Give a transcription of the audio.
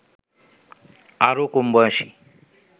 আরো কমবয়সী